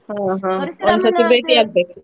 ಹಾ ಹಾ ಆಗ್ಬೇಕು.